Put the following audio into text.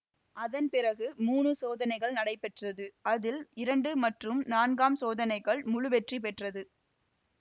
அதன் பிறகு மூன்று சோதனைகள் நடத்தப்பெற்றது அதில் இரண்டு மற்றும் நான்காம் சோதனைகள் முழு வெற்றி பெற்றது